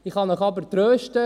Ich kann Sie aber trösten: